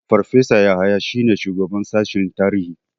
Farfesa Yahaya shine shugaban sashen tarihi.